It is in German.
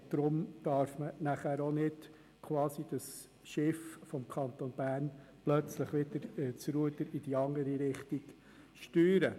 Deshalb darf man das Ruder nicht plötzlich herumreissen und das Schiff Kanton Bern in die andere Richtung steuern.